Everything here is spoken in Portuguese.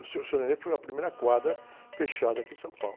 O seu, senhor foi a primeira quadra fechada aqui em São Paulo.